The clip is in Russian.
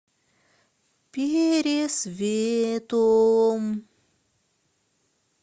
пересветом